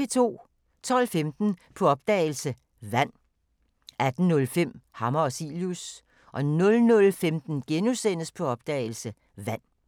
12:15: På opdagelse – Vand 18:05: Hammer og Cilius 00:15: På opdagelse – Vand *